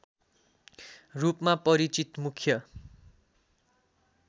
रूपमा परिचित मुख्य